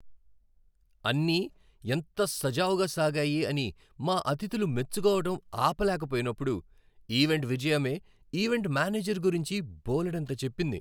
అన్నీ ఎంత సజావుగా సాగాయి అని మా అతిథులు మెచ్చుకోవటం ఆపలేకపోయినప్పుడు ఈవెంట్ విజయమే ఈవెంట్ మేనేజర్ గురించి బోలెడంత చెప్పింది.